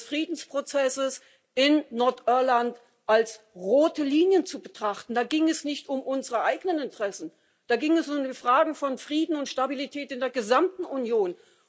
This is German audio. Friedensprozesses in Nordirland als rote Linien zu betrachten. Da ging es nicht um unsere eigenen Interessen, da ging es um die Fragen von Frieden und Stabilität in der gesamten Union.